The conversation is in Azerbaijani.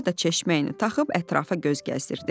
Baba da çeşməyini taxıb ətrafa göz gəzdirdi.